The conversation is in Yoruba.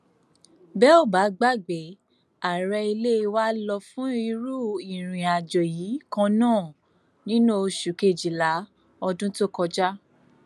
bẹ ò bá gbàgbé ààrẹ ilé wa lọ fún irú ìrìnàjò yìí kan náà nínú oṣù kejìlá ọdún tó kọjá